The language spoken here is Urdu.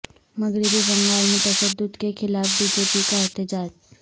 مغربی بنگال میں تشدد کے خلاف بی جے پی کا احتجاج